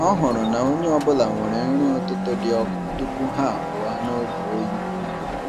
Ọ hụrụ na onye ọ bụla nwere nri ụtụtụ dị ọkụ tupu ha apụọ n’oge oyi.